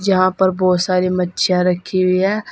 यहां पर बहोत सारी मच्छिया रखी हुई है।